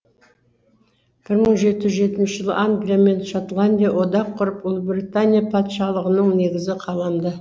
бір мың жеті жүз жетінші жылы англия мен шотландия одақ құрып ұлыбритания патшалығының негізі қаланды